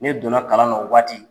Ne donna kalan na o waati.